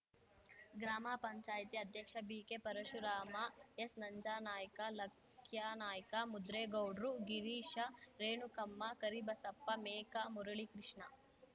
ಗ್ರಾಮ ಪಂಚಾಯ್ತಿ ಅಧ್ಯಕ್ಷ ಬಿಕೆಪರಶುರಾಮ ಎಸ್‌ನಂಜಾನಾಯ್ಕ ಲಕ್ಯಾನಾಯ್ಕ ಮುದ್ರೇಗೌಡ್ರು ಗಿರೀಶ ರೇಣುಕಮ್ಮ ಕರಿಬಸಪ್ಪ ಮೇಕಾ ಮುರಳಿಕೃಷ್ಣ